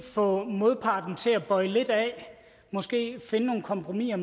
få modparten til at bøje lidt af og måske finde nogle kompromiser